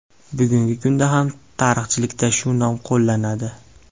Bugungi kunda ham tarixchilikda shu nom qo‘llanadi.